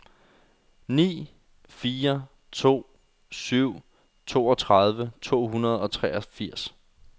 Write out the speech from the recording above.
ni fire to syv toogtredive to hundrede og treogfirs